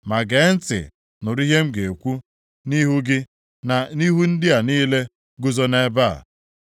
Ma gee ntị nụrụ ihe m ga-ekwu nʼihu gị na nʼihu ndị a niile guzo nʼebe a.